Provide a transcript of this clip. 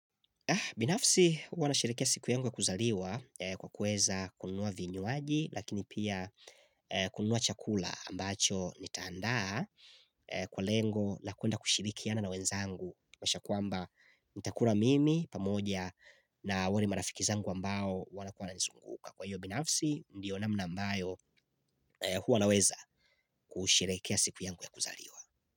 Binafsi huwana sherehekeaw siku yangu ya kuzaliwa kwa kueza kunua vinwuaji lakini pia kunua chakula ambacho nitaandaa kwa lengo na kuenda kushirikiana na wenzangu mwasha kuamba nitakura mimi pamoja na wale marafiki zangu ambao wana kuana nizunguka. Kwa hiyo binafsi ndiyo namna ambayo huwa naweza kusherehekea siku yangu ya kuzaliwa.